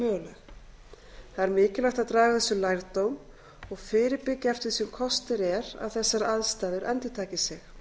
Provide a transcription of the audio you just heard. möguleg mikilvægt er að draga af þessu lærdóm og fyrirbyggja eftir því sem kostur er að þessar aðstæður endurtaki sig